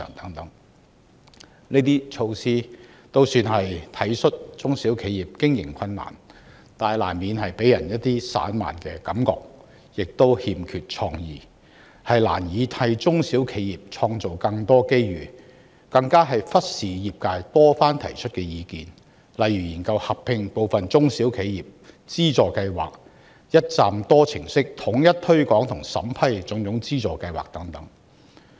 政府推行這些措施，總算是體恤中小企的經營困難，但難免予人散漫之感，亦欠缺創意，難以替中小企創造更多機遇，更忽視業界多番提出的意見，例如研究合併部分中小企資助計劃、一站式統一推廣和審批種種資助計劃等。